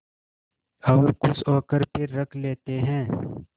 और खुश होकर फिर रख लेते हैं